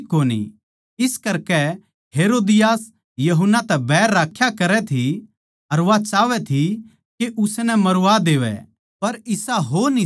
इस करकै हेरोदियास यूहन्ना तै बैर राख्या करै थी अर वा चाहवै थी के उसनै मरवा देवै पर इसा हो न्ही सक्या